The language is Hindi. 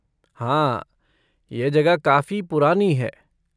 हाँ, यह जगह काफी पुरानी है।